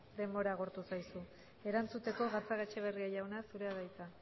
denbora agortu zaizu erantzuteko gatzagaetxeberria jauna zurea da hitza